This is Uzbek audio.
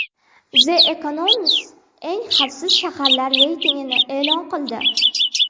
The Economist eng xavfsiz shaharlar reytingini e’lon qildi.